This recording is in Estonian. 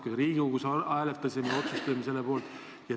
Me Riigikogus hääletasime ja otsustasime selle poolt.